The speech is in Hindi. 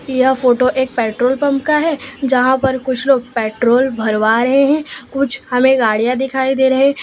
यह फोटो एक पेट्रोल पंप का है जहां पर कुछ लोग पेट्रोल भरवा रहे हैं कुछ हमें गाड़ियां दिखाई दे रहे --